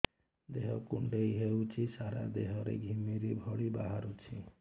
ଦେହ କୁଣ୍ଡେଇ ହେଉଛି ସାରା ଦେହ ରେ ଘିମିରି ଭଳି ବାହାରୁଛି